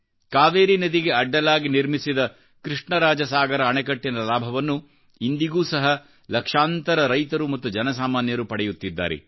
ಕಾವೇರಿ ನದಿಗೆ ಅಡ್ಡಲಾಗಿ ನಿರ್ಮಿಸಿದ ಕೃಷ್ಣರಾಜಸಾಗರ ಅಣೆಕಟ್ಟಿನ ಲಾಭವನ್ನು ಇಂದಿಗೂ ಸಹ ಲಕ್ಷಾಂತರರೈತರು ಮತ್ತು ಜನಸಾಮಾನ್ಯರು ಪಡೆಯುತ್ತಿದ್ದಾರೆ